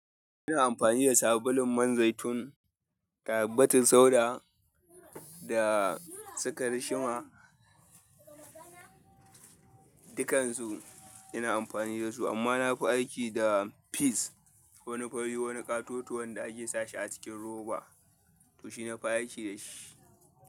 Ina amfani da sabulun man zaitun, da habbatin sauda da su karishima. Dukkansu ina amfani da su amma na fi aiki da peas wani fari, wani katoto wanda ake sashi a cikin roba. To shi na fi aiki da shi.